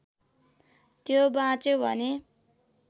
त्यो बाँच्यो भने